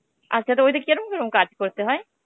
আচ্ছা, তো ওদের কে কিরম কিরম কাজ করতে হয়?